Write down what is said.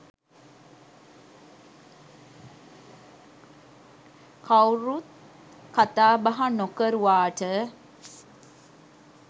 කවුරුත් කතා බහ නොකරුවාට.